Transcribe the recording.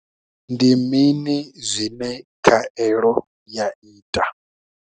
Ndi mini zwine khaelo ya ita?